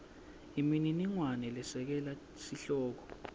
imininingwane lesekela sihloko